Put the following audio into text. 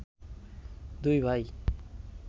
দুই ভাই